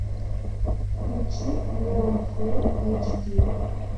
включи леон фулл эйч ди